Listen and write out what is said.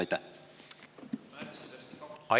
Aitäh!